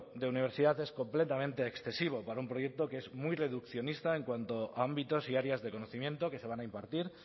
de universidad es completamente excesivo para un proyecto que es muy reduccionista en cuanto a ámbitos y áreas de conocimiento que se van a impartir